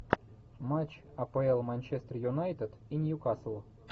матч апл манчестер юнайтед и ньюкасл